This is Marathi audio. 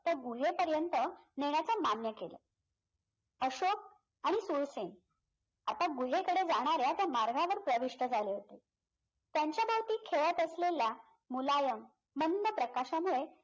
तर गुहेपर्यंत नेण्याचं मान्य केलं अशोक आणि सुरसेन आता गुहेकडे जाणाऱ्या त्या मार्गावर प्रविष्ट झले होते त्यांच्याभोवती खेळत असलेल्या मुलायम मंद प्रकाशामुळे